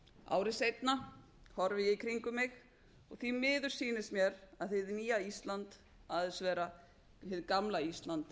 ári seinna horfi ég í kringum mig og því miður sýnist mér að hið nýja ísland aðeins vera hið gamla ísland